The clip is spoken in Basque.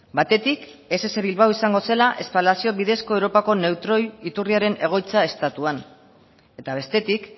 batetik ess bilbao izango zela espalazio bidezko europako neutroi iturriaren egoitza estatuan eta bestetik